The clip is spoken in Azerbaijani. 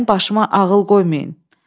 Mənim başıma ağıl qoymayın.